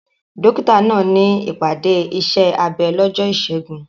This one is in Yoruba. Dókítà náà ní ìpàdé iṣẹ́ abẹ lọ́jọ́ Ìṣẹ́gun.